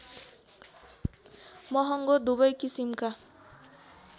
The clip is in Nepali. महङ्गो दुवै किसिमका